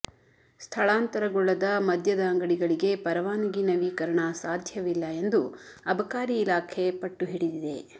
ಸ್ಥಳಾಂತರಗೊಳ್ಳದ ಮದ್ಯದ ಅಂಗಡಗಳಿಗೆ ಪರವಾನಗಿ ನವೀಕರಣ ಸಾಧ್ಯವಿಲ್ಲ ಎಂದು ಅಬಕಾರಿ ಇಲಾಖೆ ಪಟ್ಟುಹಿಡಿದಿದೆ